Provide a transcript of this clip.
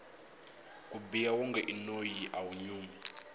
ku biha wonge i noyi awu nyumi